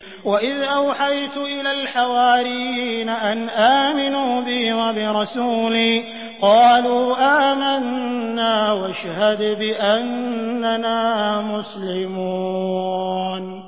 وَإِذْ أَوْحَيْتُ إِلَى الْحَوَارِيِّينَ أَنْ آمِنُوا بِي وَبِرَسُولِي قَالُوا آمَنَّا وَاشْهَدْ بِأَنَّنَا مُسْلِمُونَ